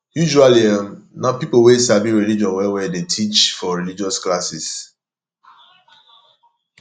usually um na pipo wey sabi religion well well dey teach for religious classes